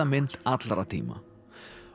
mynd allra tíma